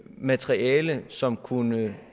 materiale som kunne